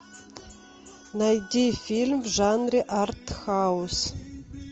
найди фильм в жанре артхаус